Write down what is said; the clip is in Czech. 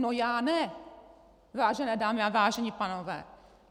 No já ne, vážené dámy a vážení pánové!